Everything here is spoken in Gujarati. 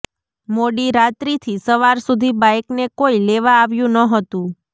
મોડીરાત્રીથી સવાર સુધી બાઇકને કોઇ લેવા આવ્યું ન હતું